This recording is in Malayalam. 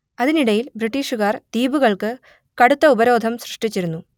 അതിനിടയിൽ ബ്രിട്ടീഷുകാർ ദ്വീപുകൾക്ക് കടുത്ത ഉപരോധം സൃഷ്ടിച്ചിരുന്നു